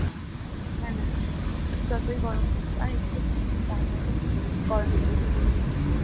হ্যাঁ সেটাই যতই গরম পরুক আর এই তো কিছুদিন তারপরে তো গরমে ছুটি পড়েই যাবে